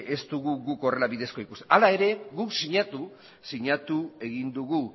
ez dugu guk horrela bidezko ikusten hala ere guk sinatu sinatu egin dugu